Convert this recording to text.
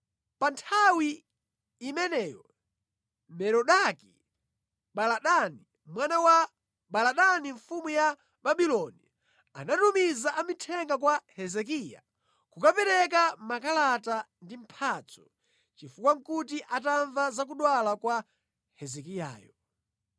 Pa nthawi imeneyo Merodaki-Baladani mwana wa Baladani mfumu ya Babuloni anatumiza amithenga kwa Hezekiya kukapereka makalata ndi mphatso, chifukwa nʼkuti atamva za kudwala kwa Hezekiyayo.